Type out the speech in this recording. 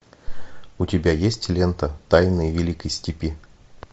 у тебя есть лента тайны великой степи